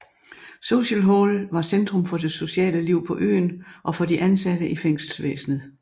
Social Hall var centrum for det sociale liv på øen og for de ansatte i fængselsvæsenet